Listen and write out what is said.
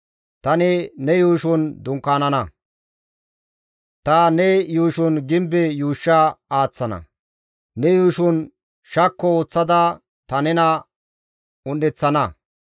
Tani ne yuushon dunkaanana; ta ne yuushon gimbe yuushsha aaththana; ne yuushon shakko ooththada ta nena un7eththana.